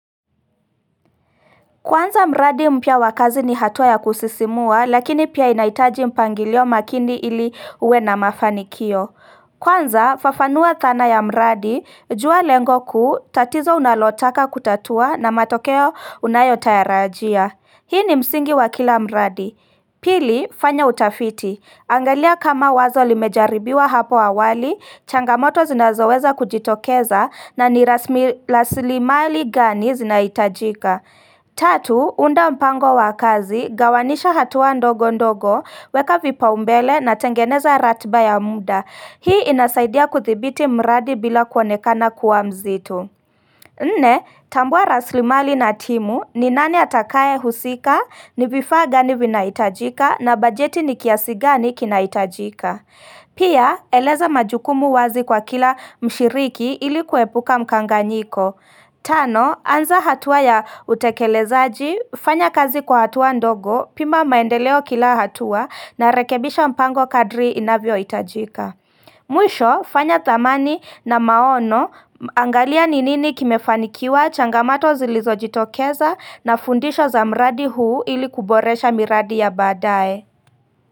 Kuanza mradi mpya wakazi ni hatua ya kusisimua lakini pia inahitaji mpangilio makindi ili uwe na mafanikio Kwanza fafanua thana ya mradi jua lengo kuu tatizo unalotaka kutatua na matokeo unayotayarajia Hii ni msingi wakila mradi Pili fanya utafiti angalia kama wazo limejaribiwa hapo awali, changamoto zinazoweza kujitokeza na niraslimali gani zinaitajika Tatu, unda mpango wakazi, gawanisha hatua ndogo ndogo, weka vipa umbele na tengeneza ratba ya muda Hii inasaidia kuthibiti mradi bila kuonekana kuwa mzito Nne, tambua raslimali na timu, ninani atakaye husika, nivifaa gani vinaitajika na bajeti nikiasigani kinahitajika Pia, eleza majukumu wazi kwa kila mshiriki ilikuepuka mkanganyiko Tano, anza hatua ya utekelezaji, fanya kazi kwa hatua ndogo, pima maendeleo kila hatua na rekebisha mpango kadri inavyohitajika. Mwisho, fanya thamani na maono, angalia ni nini kimefanikiwa changamato zilizo jitokeza na fundisho za mradi huu ili kuboresha miradi ya baadae.